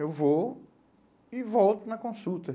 Eu vou e volto na consulta.